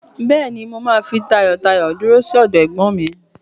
Bẹ́ẹ̀ ni, mà á fi tayọtayọ dúró sí ọdọ ẹ̀gbọ́n mi.